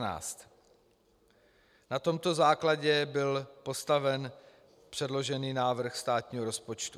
Na tomto základě byl postaven předložený návrh státního rozpočtu.